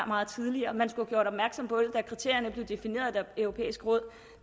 meget tidligere man skulle have gjort opmærksom på det da kriterierne blev defineret af det europæiske råd